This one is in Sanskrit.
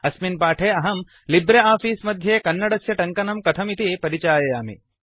अस्मिन् पाठे अहं लिब्रे आफीस मध्ये कन्नडस्य टङ्कनं कथमिति परिचाययामि